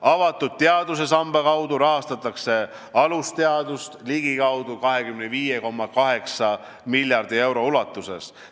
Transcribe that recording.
Avatud teaduse samba kaudu rahastatakse alusteadust ligikaudu 25,8 miljardi euro ulatuses.